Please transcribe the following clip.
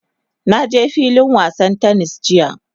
Na je filin wasan "tennis" jiya.